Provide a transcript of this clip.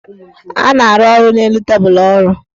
A na-arụ ọrụ n' elu tebulu ọrụ.